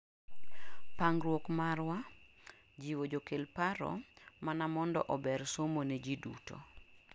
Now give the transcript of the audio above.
pangruok mar wa , jiwo jokel paro mana mondo ober somo ne ji duto